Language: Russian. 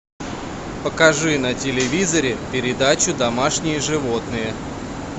покажи на телевизоре передачу домашние животные